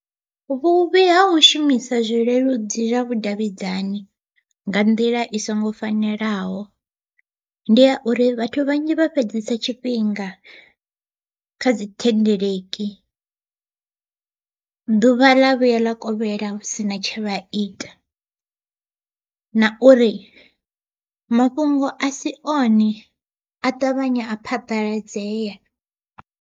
Vhuvhi ha u shumisa zwileludzi zwa vhudavhidzani nga nḓila i songo fanelaho, ndi ya uri vhathu vhanzhi vha fhedzesa tshifhinga kha dzi thendeleki. Ḓuvha ḽa vhuya ḽa kovhela hu sina tshe vha ita, na uri mafhungo a si one a ṱavhanya a phaḓaladzea.